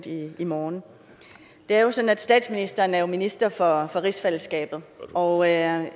i morgen det er jo sådan at statsministeren er minister for rigsfællesskabet og jeg